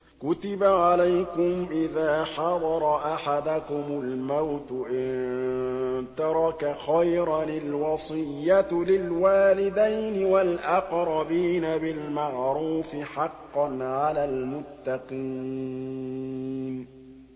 كُتِبَ عَلَيْكُمْ إِذَا حَضَرَ أَحَدَكُمُ الْمَوْتُ إِن تَرَكَ خَيْرًا الْوَصِيَّةُ لِلْوَالِدَيْنِ وَالْأَقْرَبِينَ بِالْمَعْرُوفِ ۖ حَقًّا عَلَى الْمُتَّقِينَ